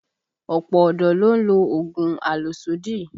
Ọ̀pọ̀ ọ̀dọ́ ló ń lo oògùn àlòsódì